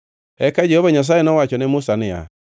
Eka Jehova Nyasaye nowacho ne Musa niya,